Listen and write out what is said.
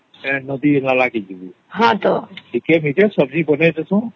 ସେ ନଦୀ ନାଳ କେ ଯିବା ଟିକେ ଟିକେ ସବଜି ବନେଇ ଦବ